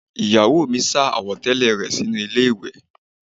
Ìyàwó mi sá àwọ̀tẹ́lẹ̀ rẹ sínú ilé ìwẹ̀